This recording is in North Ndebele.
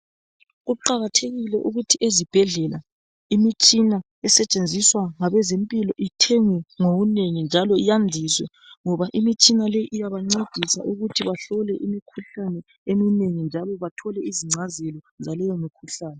Kuqakathekile ukuthi ezibhedlela imitshina esetshenziswa ngabezempilo ithengwe ngobunengi njalo yandiswe ngoba Imitshina le iyabancedisa ukuthi bahlole imikhuhlane eminengi njalo bathole izingcazelo zaleyo mikhuhlane.